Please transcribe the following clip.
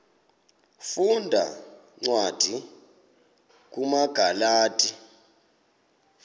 funda cwadi kumagalati